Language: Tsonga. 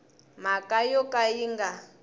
mhaka yo ka yi nga